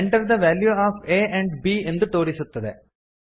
enter the value of a and b ಎಂದು ತೋರಿಸುತ್ತದೆ